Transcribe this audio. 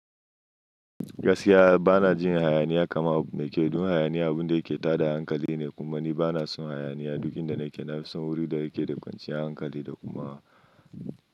Gaskiya bana jin hayaniya kaman abu me kyau dun hayaniya, abinda yake tada hankali ne. Kuma ni bana son hayaniya. Dukinda nake na fi son wuri da yake da kwanciyar hankali da kuma.